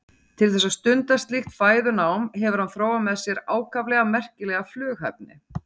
Til þess að stunda slíkt fæðunám hefur hann þróað með sér ákaflega merkilega flughæfni.